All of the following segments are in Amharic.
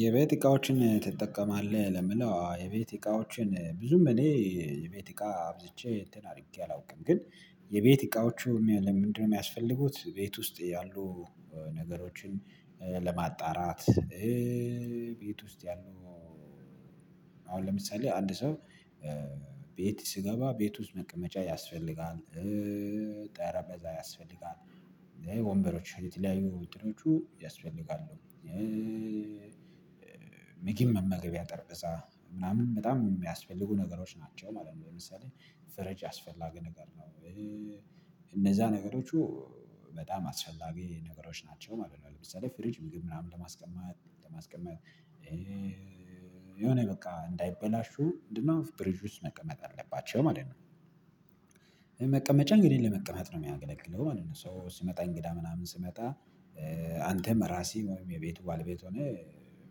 የቤት እቃዎችን ትጠቀማለህ ለምለው የቤት እቃዎችን ብዙም እኔ የቤት እቃ አብዝቼ እንትን አድርጌ አላውቅም። ግን የቤት እቃዎቹ ምንድነው የሚያስፈልጉት? ቤት ውስጥ ያሉ ነገሮችን ለማጣራት። ቤት ውስጥ ያሉ አሁን ለምሳሌ አንድ ሰው ቤት ስገባ ቤት ውስጥ መቀመጫ ያስፈልጋል ጠረጴዛ ያስፈልጋል ወንበሮች የተለያዩ ውድድሮቹ ያስፈልጋሉ። ምግብ መመገቢያ ጠረቤዛ ምናምን በጣም የሚያስፈልጉ ነገሮች ናቸው ማለት ነው። ለምሳሌ ፊሪጅ አያስፈላጊ ነገር ነው። እነዛ ነገሮቹ በጣም አስፈላጊ ነገሮች ናቸው ማለት ነው። ለምሳሌ ፍሪጅ ምናምን ለማስቀመጥ ለማስቀመጥ የሆነ በቃ እንዳይበላሹ ምንድነው ፍሪጅ ውስጥ መቀመጥ አለባቸው ማለት ነው። መቀመጫ እንግዲህ ለመቀመጥ ነው የሚያገለግለው ማለት ነው። ሶ ሲመጣ እንግዳ ምናምን ሲመጣ አንተም እራስህ ወይም የቤቱ ባለቤት ሆነ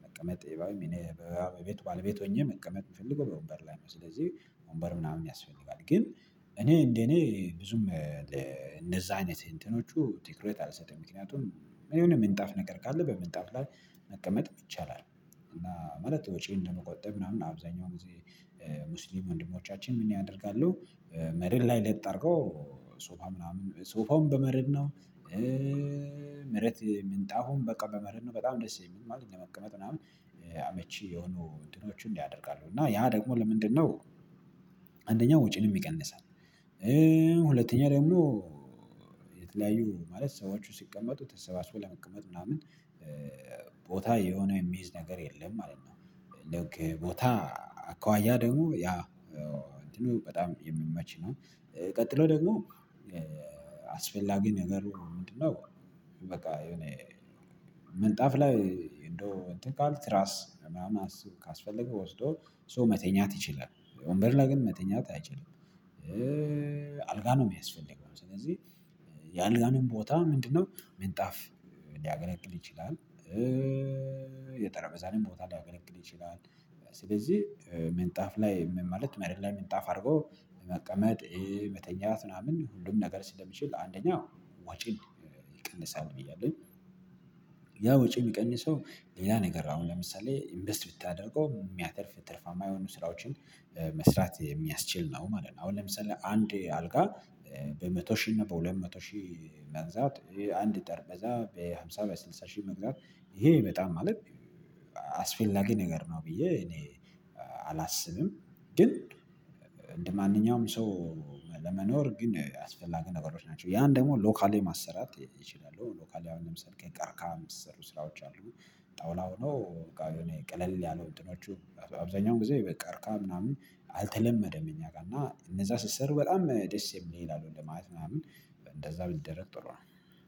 መቀመጥ የበ እኔ በቤቱ ባለቤት ሆኜ መቀመጥ የምፈልገው በወንበር ላይ ነው። ስለዚህ ወንበር ምናምን ያስፈልጋል ግን እኔ እንደኔ ብዙም ለእንደዛ አይነት እንትኖቹ ትክረት አልሰጠኝም ምክንያቱም እኔ የሆነ ምንጣፍ ነገር ካለ በምንጣፍ ላይ መቀመጥ ይቻላል። እና ማለት ወጪ እንደምቆጠብ ምናምን አብዛኛው ጊዜ ሙስሊም ወንድሞቻችን ምን ያደርጋሉ? መሬት ላይ ለጥ አድርገው ሶፋ ምናምን ሶፋውም በመሬት ነው። መሬት ምንጣፉም በቃ በመሬት ነው በጣም ደስ የሚል ማለት ለመቀመጥ ምናምን አመቺ የሆኑ እንትኖቹን ያደርጋሉ። እና ያ ደግሞ ለምንድነው? አንደኛው ወጪን ይቀንሳል። ሁለተኛ ደግሞ የተለያዩ ማለት ሰዎች ሲቀመጡ ተሰባስበው ለመቀመጥ ምናምን ቦታ የሆነ የሚይዝ ነገር የለም ማለት ነው። ቦታ አኳዋያ ደግሞ ያ እንትኑ በጣም የሚመች ነው። ቀጥሎ ደግሞ አስፈላጊ ነገሩ ምንድነው? በቃ የሆነ ምንጣፍ ላይ እንደው እንትን ካልክ ትራስ ምናምን አስ ካስፈለገው ወስዶ ሶ መተኛት ይችላል። ወንበር ላይ ግን መተኛት አይችልም። አልጋ ነው የሚያስፈልገው ስለዚህ የአልጋንም ቦታ ምንድነው ምንጣፍ ሊያገለግል ይችላል። የጠረቤዛንም ቦታ ሊያገለግል ይችላል። ስለዚህ ምንጣፍ ላይ ምን ማለት መሬት ላይ ምንጣፍ አድርጎ መቀመጥ መተኛት ምናምን ሁሉም ነገር ስለሚችል አንደኛው ወጪን ይቀንሳል ብያለሁ። ያ ወጪ የሚቀንሰው ሌላ ነገር አሁን ለምሳሌ ኢንቨስት ብታደርገው የሚያተርፍ ትርፋማ የሆኑ ስራዎችን መስራት የሚያስችል ነው ማለት ነው። አሁን ለምሳሌ አንድ አልጋ በመቶ ሺህ እና በሁለት መቶ ሺህ መግዛት አንድ ጠረቤዛ በሃምሳ በስልሳ ሺህ መግዛት ይሄ በጣም ማለት አስፈላጊ ነገር ነው። ብዬ እኔ አላስብም። ግን እንደማንኛውም ሰው ለመኖር ግን አስፈላጊ ነገሮች ናቸው። ያን ደግሞ ሎካሊ ማሰራት ይችላሉ ሎካሊ አሁን ለምሳሌ ከቀርካ የሚሰሩ ስራዎች አሉ። ጠውላ ሆኖ ቀለል ያለው እንትኖቹ አብዛኛው ጊዜ በቀርካ ምናምን አልተለመደም። እኛ ጋር እና እነዛ ስሰሩ በጣም ደስ የሚል ለማለት ምናምን እንደዛ ቢደረግ ጥሩ ነው።